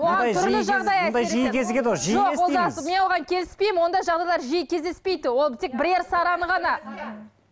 мен оған келіспеймін ондай жағдайлар жиі кездеспейді ол тек бірер сараңы ғана